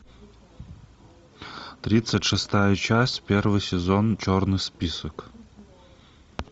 тридцать шестая часть первый сезон черный список